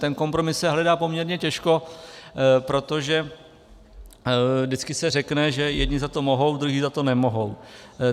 Ten kompromis se hledá poměrně těžko, protože vždycky se řekne, že jedni za to mohou, druzí za to nemohou.